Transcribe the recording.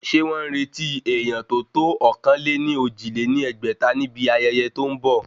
Ṣé wọ́n ń retí èèyán tó tó ọ̀kan-lé-ní-ojì lé ní ẹgbẹ́ta ni ibi ayẹyẹ tó ń bọ̀?